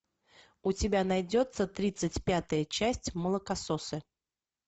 у тебя найдется тридцать пятая часть молокососы